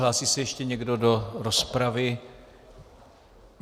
Hlásí se ještě někdo do rozpravy?